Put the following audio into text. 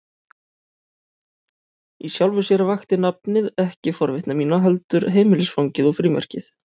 Í sjálfu sér vakti nafnið ekki forvitni mína, heldur heimilisfangið og frímerkið.